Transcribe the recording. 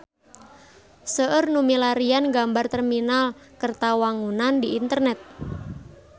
Seueur nu milarian gambar Terminal Kertawangunan di internet